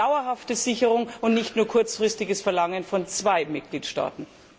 Wir brauchen dauerhafte Sicherung, und nicht nur kurzfristige Forderungen gegenüber zwei Mitgliedstaaten.